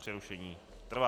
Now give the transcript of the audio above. Přerušení trvá.